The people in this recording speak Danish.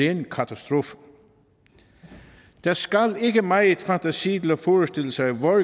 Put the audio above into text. ren katastrofe der skal ikke megen fantasi til at forestille sig hvor